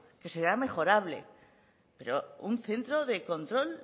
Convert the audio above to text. que será mejorable pero un centro de control